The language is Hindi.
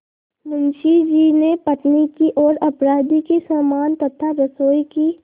मुंशी जी ने पत्नी की ओर अपराधी के समान तथा रसोई की